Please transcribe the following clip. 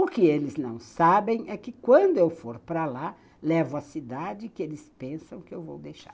O que eles não sabem é que quando eu for para lá, levo a cidade que eles pensam que eu vou deixar.